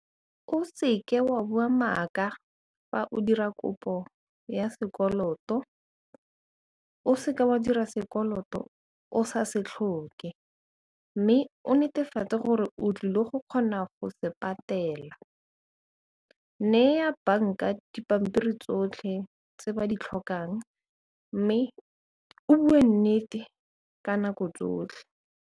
O seke wa bua maaka fa o dira kopo ya sekoloto o seka wa dira sekoloto o sa se tlhoke mme o netefatse gore o tlile go kgona go se patela, nneya banka dipampiri tsotlhe tse ba di tlhokang mme o bue nnete ka nako tsotlhe.